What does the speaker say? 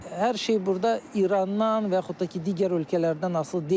Hər şey burda İrandan və yaxud da ki, digər ölkələrdən asılı deyil.